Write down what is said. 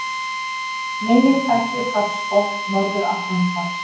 Meginþættir hafsbotns Norður-Atlantshafs.